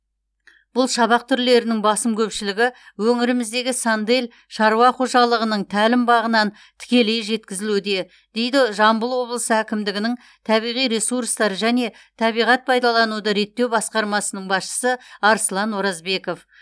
бұл шабақ түрлерінің басым көпшілігі өңіріміздегі сандель шаруа қожалығының тәлімбағынан тікелей жеткізілуде дейді жамбыл облысы әкімдігінің табиғи ресурстар және табиғат пайдалануды реттеу басқармасының басшысы арслан оразбеков